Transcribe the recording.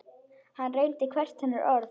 Hann reyndi hvert hennar orð.